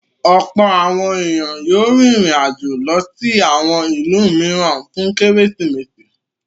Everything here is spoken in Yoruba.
Ọ̀pọ̀ àwọn ènìyàn yóò rìnrìn-àjò lọ sí àwọn ìlú mìíràn fún Kérésìmesì.